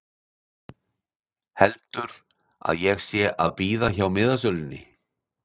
Heldur að ég sé að bíða hjá miðasölunni!